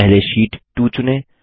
सबसे पहले शीट 2 चुनें